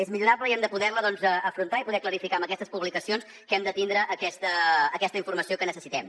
és millorable i hem de poder la afrontar i clarificar amb aquestes publicacions perquè hem de tindre aquesta informació que necessitem